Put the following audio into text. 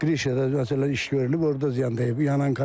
Krişa, məsələn, iş görülüb, orda ziyan dəyib.